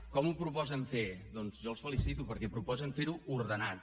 com ho proposen fer doncs jo els felicito perquè proposen fer ho ordenat